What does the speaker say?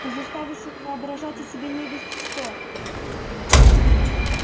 ты заставишь их воображать о себе невесть что